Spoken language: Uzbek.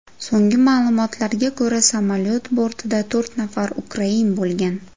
So‘nggi ma’lumotlarga ko‘ra, samolyot bortida to‘rt nafar ukrain bo‘lgan .